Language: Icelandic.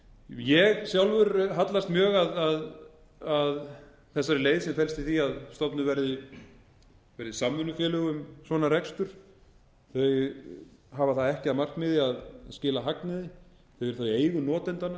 ég hallast sjálfur mjög að þessari leið sem felst í því að stofnuð verði samvinnufélög um svona rekstur þau hafa það ekki að markmiði að skila hagnaði þau eru í eigu